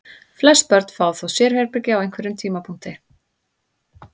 Flest börn fá þó sérherbergi á einhverjum tímapunkti.